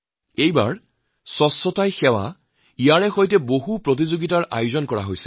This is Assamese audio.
এইবাৰ স্বচ্ছতাই সেৱা অভিযানত একাধিক প্ৰতিযোগিতাৰ আয়োজন কৰা হৈছিল